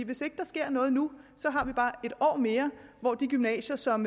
hvis ikke der sker noget nu så har vi bare et år mere hvor de gymnasier som